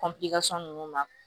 nunnu ma